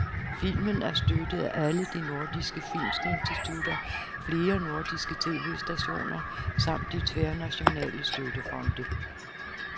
Filmen er støttet af alle de nordiske filminstitutter, flere nordiske tv-stationer samt de tværnationale støttefonde.